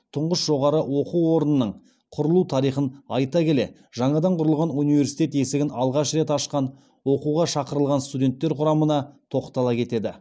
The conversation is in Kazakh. тұңғыш жоғары оқу орнының құрылу тарихын айта келе жаңадан құрылған университет есігін алғаш рет ашқан оқуға шақырылған студенттер құрамына тоқтала кетеді